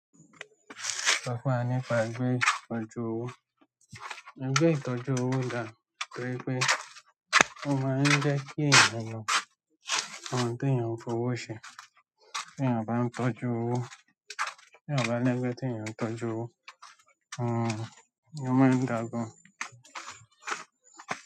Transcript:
Sọ̀ fún wa nípa bi o se n tọ́jú owó. Ìgbé ìtọ́jú owó dà torí pé ó máa ń jẹ́ kí ẹ̀niyàn o mọ ohun teeyàn fi owó ṣe, tí eẹ̀yàn bá ń tọ́jú owó, tí ẹ̀yàn bá ń je pe, tí èèyàn ń tọ́jú owó, hmm, o maa ń dà gàn.